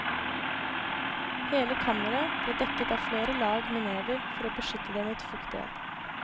Hele kammeret ble dekket av flere lag med never for beskytte det mot fuktighet.